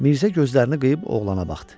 Mirzə gözlərini qıyıb oğlana baxdı.